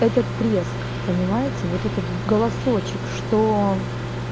этот треск понимаете вот этот голосочек что